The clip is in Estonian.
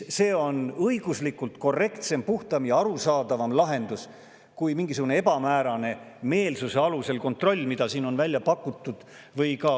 See on õiguslikult korrektsem, puhtam ja arusaadavam lahendus kui mingisugune ebamäärane meelsuse alusel kontroll, mida siin on välja pakutud.